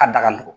A da ka nɔgɔn